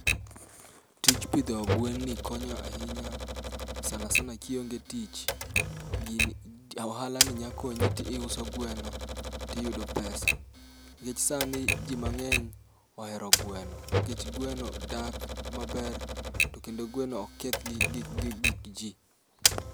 Tij pidho gwen ni konyo ahinya, sana sana kionge tich. Gini o ohala ni nya konyi ti iuso gweno tiyudo pesa, nikech sani ji mang'eny ohero gweno. Nikech gweno dak maber, to kendo gweno ok keth gi gi gi gik ji.